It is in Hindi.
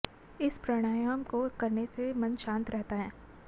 इस प्राणायाम को करने से मन शांत रहता है